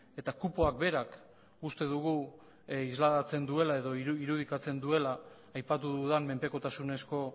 eta kupoak berak uste dugu islatzen duela edo irudikatzen duela aipatu dudan menpekotasunezko